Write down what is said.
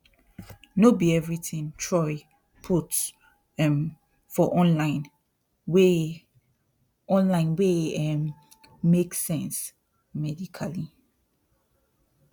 no be everything troy put um for online wey online wey um make sense medically